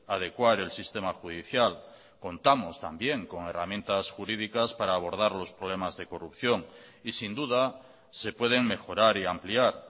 adecuar el sistema judicial contamos también con herramientas jurídicas para abordar los problemas de corrupción y sin duda se pueden mejorar y ampliar